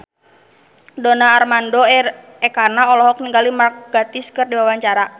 Donar Armando Ekana olohok ningali Mark Gatiss keur diwawancara